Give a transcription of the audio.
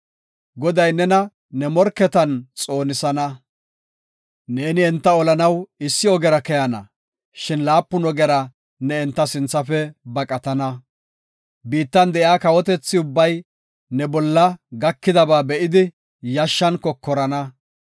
Goday nena ne morketan xoonisana. Neeni enta olanaw issi ogera keyana; shin laapun ogera ne enta sinthafe baqatana. Biittan de7iya kawotethi ubbay ne bolla gakidaba be7idi, yashshan kokorana.